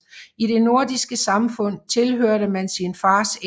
I det nordiske samfund tilhørte man sin fars æt